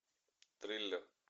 триллер